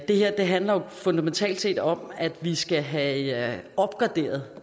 det her handler jo fundamentalt set om at vi skal have opgraderet